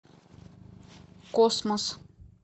космос